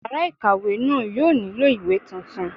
Yàrá ìkàwé náà yóò nílò ìwé tuntun